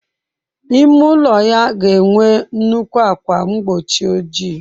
Ime ụlọ ya ga enwe nnukwu ákwà mgbochi ojii.